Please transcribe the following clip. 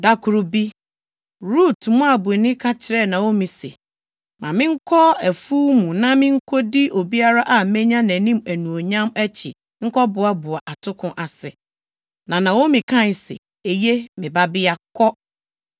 Da koro bi, Rut, Moabni, ka kyerɛɛ Naomi se, “Ma menkɔ afuw mu na minkodi obiara a menya nʼanim anuonyam akyi nkɔboaboa atoko ase.” Na Naomi kae se, “Eye, me babea, kɔ.”